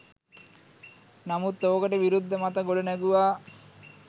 නමුත් ඕකට විරුද්ද මත ගොඩ නැගුවා